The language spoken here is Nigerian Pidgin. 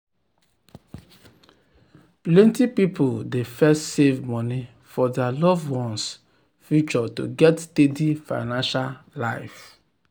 plenty people dey first save money for dir loved ones' future to get steady financial life.